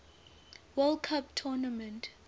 world cup tournament